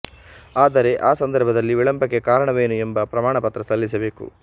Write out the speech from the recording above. ಆದರೆ ಆ ಸಂದರ್ಭದಲ್ಲಿ ವಿಳಂಬಕ್ಕೆ ಕಾರಣವೇನು ಎಂಬ ಪ್ರಮಾಣಪತ್ರ ಸಲ್ಲಿಸಬೇಕು